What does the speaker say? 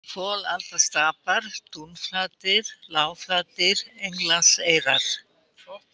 Folaldastapar, Dúnflatir, Lágflatir, Englandseyrar